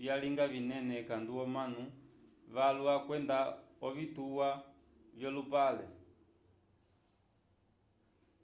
vyalinga vinene ekandu omanu valwa kwenda ovitwa vyolupale